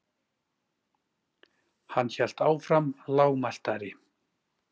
Hann hélt áfram lágmæltari.